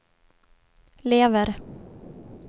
lever